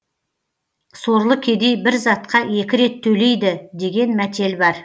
сорлы кедей бір затқа екі рет төлейді деген мәтел бар